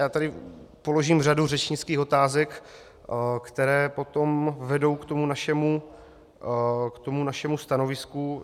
Já tady položím řadu řečnických otázek, které potom vedou k tomu našemu stanovisku.